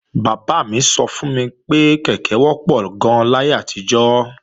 Bàbá mi sọ fún mi pé kèké wọ́pọ̀ gan-an láyé àtijọ́